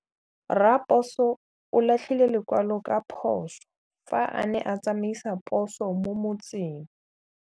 Raposo o latlhie lekwalô ka phosô fa a ne a tsamaisa poso mo motseng.